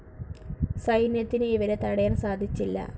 സൈന്യത്തിന് ഇവരെ തടയാൻ സാധിച്ചില്ല.